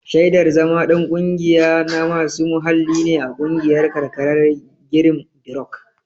Shaidar zama ɗan ƙungiya na masu muhalli ne a ƙungiyar karkarar girinbirok.